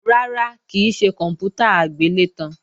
Rárá, kì í ṣe kòǹpútà agbélétan